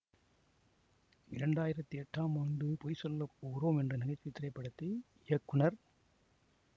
இரண்டாயிரத்தி எட்டாம் ஆண்டு பொய் சொல்ல போறோம் என்ற நகை சுவை திரைப்படத்தை இயக்குனர்